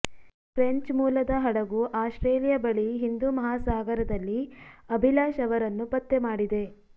French ಮೂಲದ ಹಡಗು Australia ಬಳಿ ಹಿಂದೂ ಮಹಾಸಾಗರದಲ್ಲಿ ಅಭಿಲಾಷ್ ಅವರನ್ನು ಪತ್ತೆ ಮಾಡಿದೆ